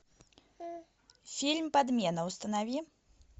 фильм подмена установи